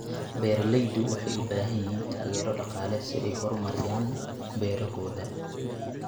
Beeraleydu waxay u baahan yihiin taageero dhaqaale si ay u horumariyaan beerahooda.